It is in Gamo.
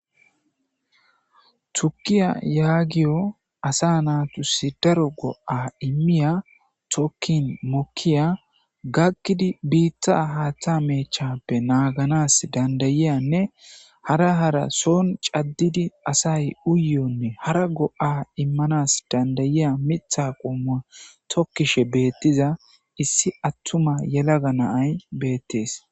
Tukiya yahoyo asa matisi daro go'a imiya tokin mokiya gakodi bitta haatha meechappe naaganasi dandauoyanne hara hara son cadidi asau uyiyone hara go'a immanaw danda'iya Mitha tokishin issi attuma yelaga ma'ay beetes.